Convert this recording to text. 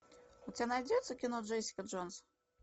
у тебя найдется кино джессика джонс